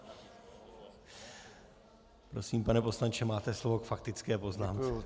Prosím, pane poslanče, máte slovo k faktické poznámce.